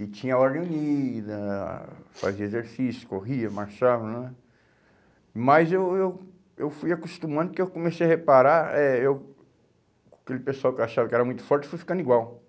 e tinha ordem unida, fazia exercício, corria, marchava nã, mas eu eu eu fui acostumando que eu comecei a reparar eh eu aquele pessoal que eu achava que era muito forte fui ficando igual,